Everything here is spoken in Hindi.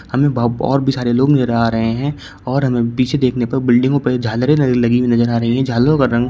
हमें और भी सारे लोग नजर आ रहे हैं और हमें पीछे देखने पर बिल्डिंगों पर झालरें लगी हुई नजर आ रही हैं झालरों का रंग--